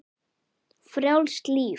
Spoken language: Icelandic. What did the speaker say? Frjálst líf.